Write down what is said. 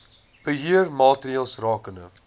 beheer maatreëls rakende